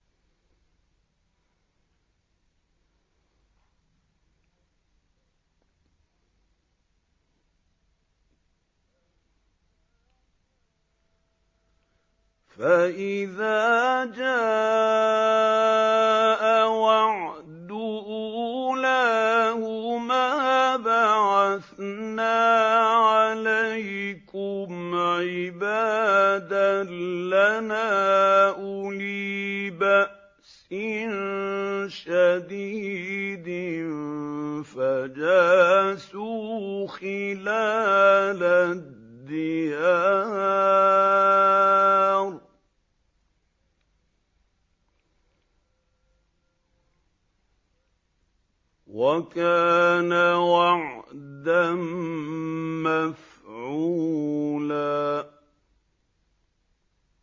فَإِذَا جَاءَ وَعْدُ أُولَاهُمَا بَعَثْنَا عَلَيْكُمْ عِبَادًا لَّنَا أُولِي بَأْسٍ شَدِيدٍ فَجَاسُوا خِلَالَ الدِّيَارِ ۚ وَكَانَ وَعْدًا مَّفْعُولًا